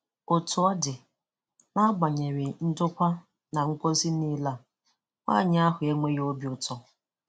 Otu ọ dị, n'agbanyeghi ndokwa na ngọzi niile a, nwanyị ahụ e nweghị obi ụtọ.